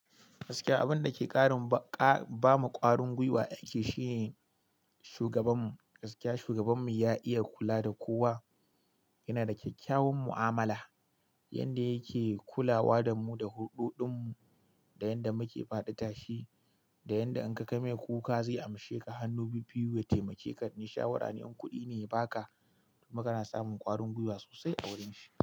Gaskiya abun da ke ba mu ƙwarin guiwa a aiki shine shugabanmu. Gaskiya shugabanmu ya iya kula da kowa. Yana da kyakkyawan mu'amala yanda yake kulawa da mu da hulɗoɗin mu, da yanda muke faɗi tashi, da yanda in ka kai mai kuka zai amshe ka hannu bibbiyu ya taimake ka. In shawara ne in kuɗi ne ya baka kuma kana samun ƙwarin guiwa sosai a wurin shi.